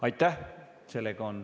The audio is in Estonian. Aitäh!